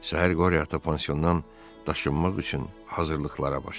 Səhər Qoryata pansiondan daşınmaq üçün hazırlıqlara başladı.